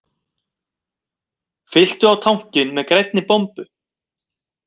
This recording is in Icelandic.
Fylltu á tankinn með grænni bombu